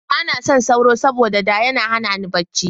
Ba na son sauro, saboda da yana hana ni barci.